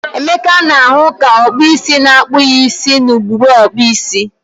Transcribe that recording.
Emeka na-ahu ka okpu isi na-akpu ya isi na ugegbe okpu isi.